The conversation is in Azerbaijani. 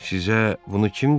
Sizə bunu kim dedi?